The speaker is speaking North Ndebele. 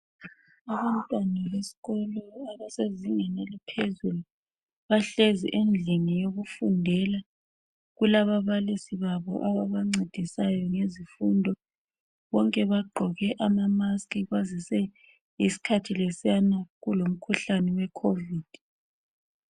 Abantwana besikolo abasezingeni eliphezulu bahlezi endlini yokufundela kulababalisi babo ababancedisayo ngezifundo, bonke bagqoke amamasikhi bazise isikhathi lesiyana kulomkhuhlane we khovidi.